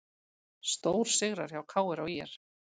Stórsigrar hjá KR og ÍR